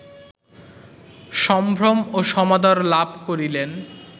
সম্ভ্রম ও সমাদর লাভ করিলেন